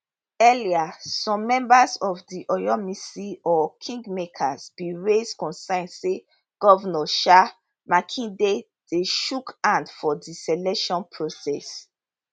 earlier some members of di oyomesi or kingmakers bin raise concern say govnor um makinde dey chook hand for di selection process